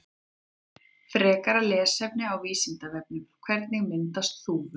Frekara lesefni á Vísindavefnum: Hvernig myndast þúfur?